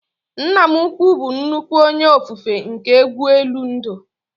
Nna m ukwuu bụ nnukwu onye ofufe nke egwu elu ndụ